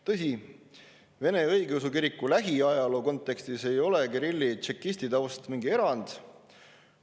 Tõsi, Vene Õigeusu Kiriku lähiajaloo kontekstis ei ole Kirilli tšekistitaust mingi erand.